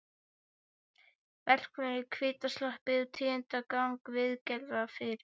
Verkfræðingur á hvítum sloppi tíundar gang viðgerðanna fyrir